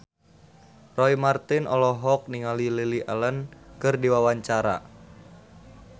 Roy Marten olohok ningali Lily Allen keur diwawancara